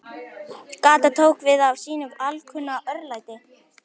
Gatan tók við af sínu alkunna örlæti.